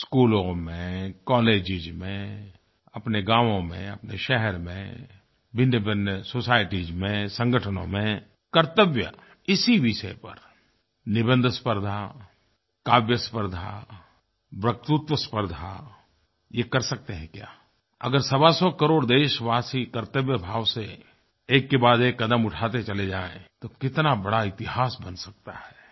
स्कूलों में कॉलेजेस में अपने गांवों में अपने शहर में भिन्नभिन्न सोसायटीज में संगठनों में कर्तव्य इसी विषय पर निबंध स्पर्द्धा काव्य स्पर्द्धा वक्तृत्व स्पर्द्धा ये कर सकते हैं क्या अगर सवा सौ करोड़ देशवासी कर्तव्य भाव से एक के बाद एक कदम उठाते चले जाएँ तो कितना बड़ा इतिहास बन सकता है